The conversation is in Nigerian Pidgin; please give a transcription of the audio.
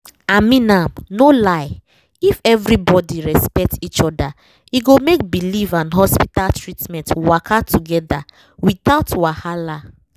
i mean am no lie—if everybody respect each other e go make belief and hospital treatment waka together without wahala